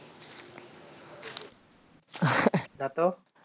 না তো